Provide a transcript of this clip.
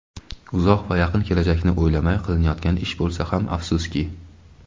Uzoq va yaqin kelajakni o‘ylamay qilinyotgan ish bo‘lsa ham afsuski.